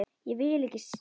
Ég vil ekki selja.